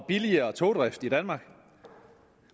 og billigere togdrift i danmark